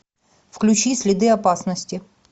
включи следы опасности